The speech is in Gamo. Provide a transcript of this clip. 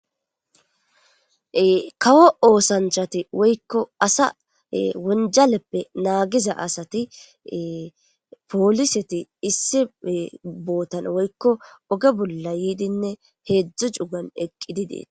kawo oosanchati woykko asa wonjaleppe naagiza asati pooliseti issi bootan woykko oge bolla yiidinne heedzdzu cugan eqqidi deet